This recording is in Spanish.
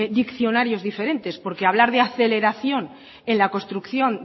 diccionarios diferentes porque hablar de aceleración en la construcción